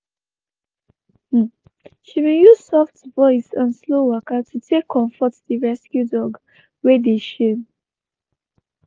she been use soft voice and slow waka to take comfort the rescue dog wey de shame.